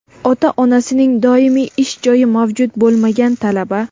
Ota-onasining doimiy ish joyi mavjud bo‘lmagan talaba;.